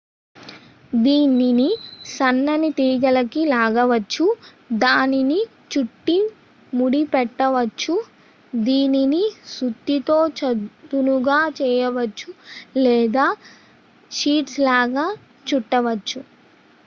దీనిని సన్నని తీగలికి లాగవచ్చు దానిని చుట్టి ముడి పెట్టవచ్చు దీనిని సుత్తితో చదునుగా చేయవచ్చు లేదా షీట్స్ లాగా చుట్టవచ్చు